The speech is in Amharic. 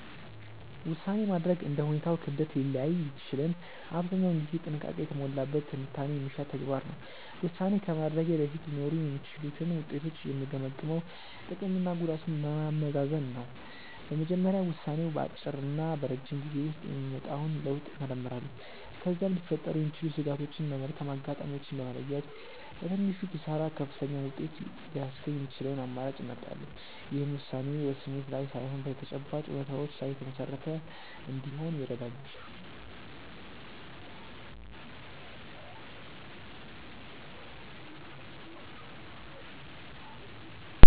ውሳኔ ማድረግ እንደ ሁኔታው ክብደት ሊለያይ ቢችልም አብዛኛውን ጊዜ ጥንቃቄ የተሞላበት ትንታኔ የሚሻ ተግባር ነው። ውሳኔ ከማድረጌ በፊት ሊኖሩ የሚችሉትን ውጤቶች የምገመግመው ጥቅምና ጉዳቱን በማመዛዘን ነው። በመጀመሪያ ውሳኔው በአጭርና በረጅም ጊዜ ውስጥ የሚያመጣውን ለውጥ እመረምራለሁ። ከዚያም ሊፈጠሩ የሚችሉ ስጋቶችን እና መልካም አጋጣሚዎችን በመለየት፣ በትንሹ ኪሳራ ከፍተኛውን ውጤት ሊያስገኝ የሚችለውን አማራጭ እመርጣለሁ። ይህም ውሳኔዬ በስሜት ላይ ሳይሆን በተጨባጭ እውነታዎች ላይ የተመሰረተ እንዲሆን ይረዳኛል።